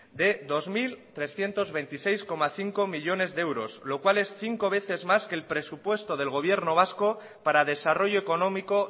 de dos mil trescientos veintiséis coma cinco millónes de euros lo cual es cinco veces más que el presupuesto del gobierno vasco para desarrollo económico